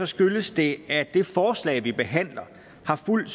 skyldes det at det forslag vi behandler har fulgt